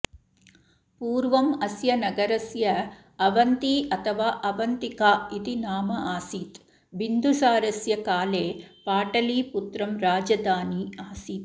पूर्वम् अस्य नगरस्य अवन्ती अथवा अवन्तिका इति नाम आसीत् बिन्दुसारस्य काले पाटलीपुत्रं राजधानी आसीत्